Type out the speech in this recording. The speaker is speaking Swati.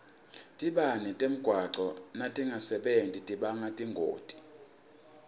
tibane temgwaco natingasebenti tibanga tingoti